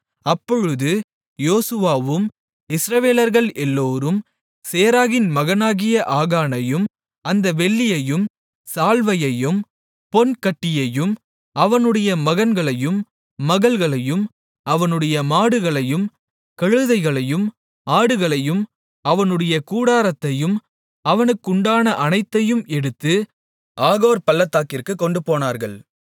அப்பொழுது யோசுவாவும் இஸ்ரவேலர்கள் எல்லோரும் சேராகின் மகனாகிய ஆகானையும் அந்த வெள்ளியையும் சால்வையையும் பொன் கட்டியையும் அவனுடைய மகன்களையும் மகள்களையும் அவனுடைய மாடுகளையும் கழுதைகளையும் ஆடுகளையும் அவனுடைய கூடாரத்தையும் அவனுக்குண்டான அனைத்தையும் எடுத்து ஆகோர் பள்ளத்தாக்கிற்குக் கொண்டுபோனார்கள்